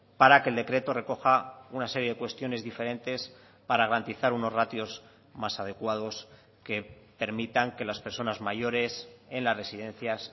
para que el decreto recoja una serie de cuestiones diferentes para garantizar unos ratios más adecuados que permitan que las personas mayores en las residencias